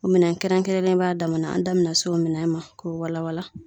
O minɛn kɛrɛnkɛrɛnnen b'a damana an da bena se o minɛn ma k'o wala wala